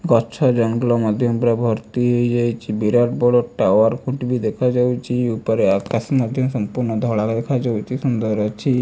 ଗଛ ଜଙ୍ଗଲ ମଧ୍ୟ ଭର୍ତ୍ତି ହେଇ ଯାଇଚି ବିରାଟ ବଡ ଟାୱାର ଖୁଣ୍ଟି ବି ଦେଖା ଯାଉଚି ଉପରେ ଆକାଶ ସମ୍ପୂର୍ଣ୍ଣ ଧଳା ଦେଖ ଯାଉଚି ସୁନ୍ଦର ଅଛି।